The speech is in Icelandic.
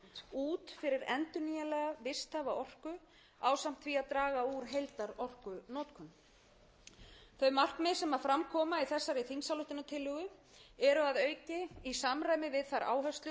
út fyrir endurnýjanlega visthæfa orku ásamt því að draga úr heildarorkunotkun þau markmið sem fram koma í þessari þingsályktunartillögu eru að auki í samræmi við þær áherslur sem fram koma